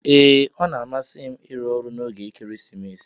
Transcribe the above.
Ee ọna amasim irụ ọrụ na oge ekeresimesi.